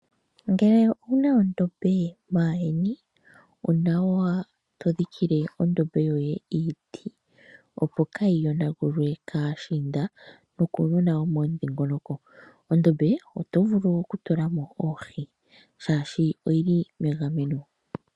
Ngele owuna ondombe maandjeni onawa todhikile ondombe yoye iiti opo kaayi yonagulwe kaashiinda nokuunona womomudhingoloko. Ondombe oto vulu okutula mo oohi oshoka oyili megameno.